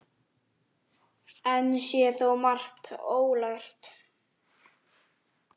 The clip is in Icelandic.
Enn sé þó margt ólært.